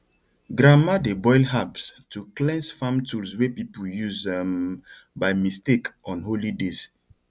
grandma dey boil herbs to cleanse farm tools wey people use um by mistake on holy days